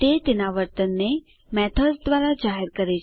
તે તેના વર્તનને મેથડ્સ દ્વારા જાહેર કરે છે